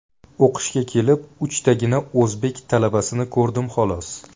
O‘qishga kelib, uchtagina o‘zbek talabasini ko‘rdim xolos.